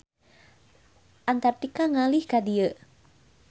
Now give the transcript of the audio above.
Antartika ngalih ka dieu.